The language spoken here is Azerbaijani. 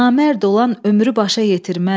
Namərd olan ömrü başa yetirməz.